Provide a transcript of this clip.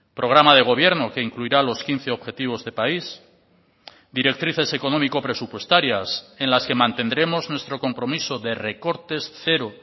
programa de gobierno que incluirá los quince objetivos de país directrices económico presupuestarias en las que mantendremos nuestro compromiso de recortes cero